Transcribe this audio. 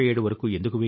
ఇది సమయం తీసుకుంటుంది